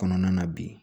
Kɔnɔna na bi